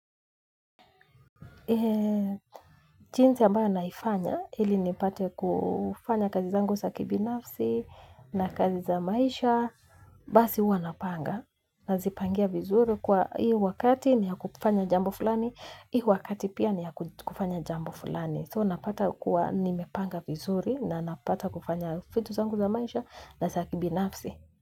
Chinzi ambayo naifanya, ili nipate kufanya kazi zangu za kibinafsi na kazi za maisha, basi huwa napanga. Nazipangia vizuri kuwa hii wakati ni ya kufanya jambo fulani, hii wakati pia ni ya kufanya jambo fulani. Though napata kuwa nimepanga vizuri na napata kufanya fitu zangu za maisha na sa kibinafsi.